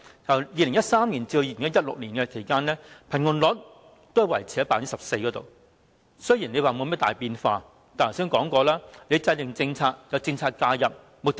由2013年至2016年期間，貧窮率維持於 14%， 雖然沒有甚麼大變化，但正如我剛才所說，制訂政策和政策介入，目的為何？